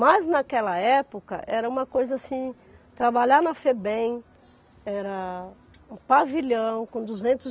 Mas naquela época era uma coisa assim, trabalhar na Febem era um pavilhão com duzentos